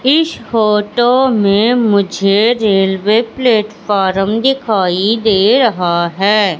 इस फोटो मे मुझे रेल्वे प्लेटफारम दिखाई दे रहा है।